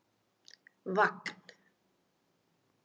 Vagn